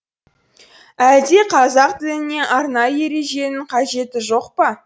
әлде қазақ тіліне арнайы ереженің қажеті жоқ па